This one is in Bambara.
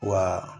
Wa